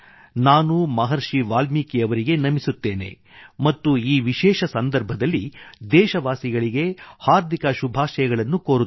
ನಾನು ಮಹರ್ಷಿ ವಾಲ್ಮೀಕಿ ಅವರಿಗೆ ನಮಿಸುತ್ತೇನೆ ಮತ್ತು ಈ ವಿಶೇಷ ಸಂದರ್ಭದಲ್ಲಿ ದೇಶವಾಸಿಗಳಿಗೆ ಹಾರ್ದಿಕ ಶುಭಾಶಯಗಳನ್ನೂ ಕೋರುತ್ತೇನೆ